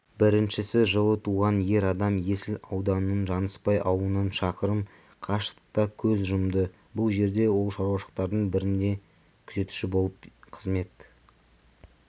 біріншісі жылы туған ер адам есіл ауданының жаныспай ауылынан шақырым қашықтықта көз жұмды бұл жерде ол шаруашылықтардың бірінде күзетші болып қызмет